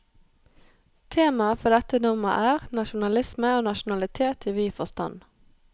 Temaet for dette nummer er, nasjonalisme og nasjonalitet i vid forstand.